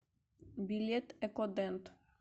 билет экодент